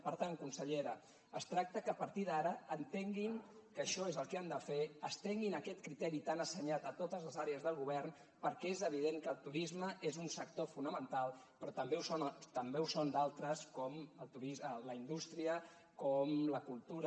per tant consellera es tracta que a partir d’ara entenguin que això és el que han de fer estenguin aquest criteri tan assenyat a totes les àrees del govern perquè és evident que el turisme és un sector fonamental però també ho són d’altres com la indústria com la cultura